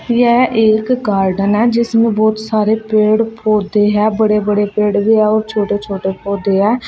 यह एक गार्डन है जिसमें बहुत सारे पेड़ पौधे है बड़े बड़े पेड़ भी है और छोटे छोटे पौधे हैं।